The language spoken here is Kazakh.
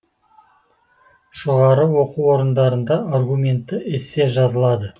жоғары оқу орындарында аргументті эссе жазылады